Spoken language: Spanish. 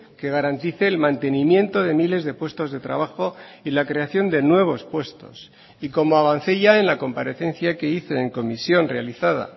que garantice el mantenimiento de miles de puestos de trabajo y la creación de nuevos puestos y como avancé ya en la comparecencia que hice en comisión realizada